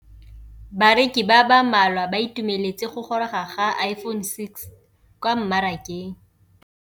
Bareki ba ba malwa ba ituemeletse go gôrôga ga Iphone6 kwa mmarakeng.